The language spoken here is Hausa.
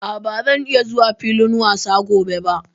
A', ba zan iya zuwa filin wasa gobe ba.